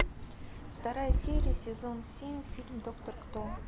вторая серия сезон семь фильм доктор кто